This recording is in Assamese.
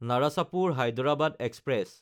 নাৰাচাপুৰ–হায়দৰাবাদ এক্সপ্ৰেছ